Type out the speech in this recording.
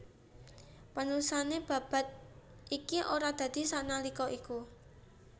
Panulisan babad iki ora dadi sanalika iku